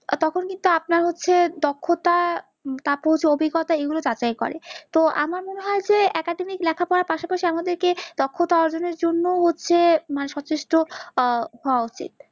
তখন কিন্তু আপনার হচ্ছে দক্ষতা তারপর যৌতিকতা এগুলো যাচাই করে তো আমার মনে হয় যে academic লেখা পড়ার পাশাপাশি আমাদের কে দক্ষতা অর্জন এর জন্য ও হচ্ছে সচেষ্ট হওয়া উচিৎ